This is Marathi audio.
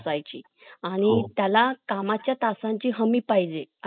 आधी अधिकाधिक कर्मचारी वर्ग कार्यालयात हजर राहावे ही अपेक्षा असाय ची आणि त्याला कामाच्या तासांची हमी पाहिजे